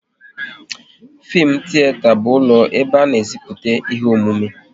Fim tiyeta bụ ụlọ ebe a na e ziputa ihe omume